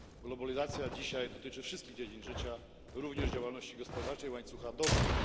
Globalizacja dzisiaj dotyczy wszystkich dziedzin życia, również działalności gospodarczej i łańcucha dostaw.